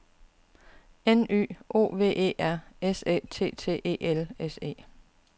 N Y O V E R S Æ T T E L S E